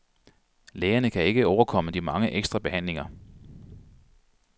Lægerne kan ikke overkomme de mange ekstra behandlinger.